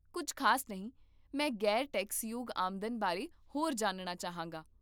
ਕੁੱਝ ਖ਼ਾਸ ਨਹੀਂ, ਮੈਂ ਗ਼ੈਰ ਟੈਕਸਯੋਗ ਆਮਦਨ ਬਾਰੇ ਹੋਰ ਜਾਣਨਾ ਚਾਹਾਂਗਾ